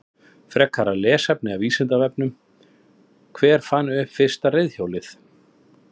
Frekara lesefni af Vísindavefnum: Hver fann upp fyrsta reiðhjólið?